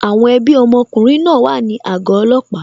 Àwọn ẹbí ọmọkùnrin náà wà ní àgọ́ ọlọ́pàá